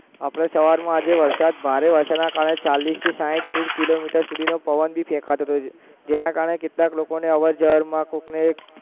આપણે સવારમાં આજે વરસાદ ભારે વરસાદના કારણે ચાલીસથી સાઠ કિલોમીટર સુધીનો પવન ભી ફેંકાતો હતો, જેના કારણે કેટલાક લોકોને અવરજવરમાં કોકને